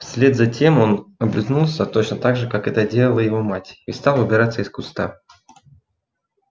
вслед за тем он облизнулся точно так же как это делала его мать и стал выбираться из куста